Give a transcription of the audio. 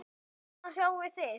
Hún er þung.